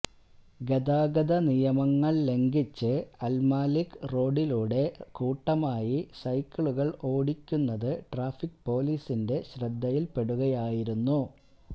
ഗതാഗത നിയമങ്ങൾ ലംഘിച്ച് അൽമലിക് റോഡിലൂടെ കൂട്ടമായി സൈക്കിളുകൾ ഓടിക്കുന്നത് ട്രാഫിക് പോലീസിന്റെ ശ്രദ്ധയിൽ പെടുകയായിരുന്നു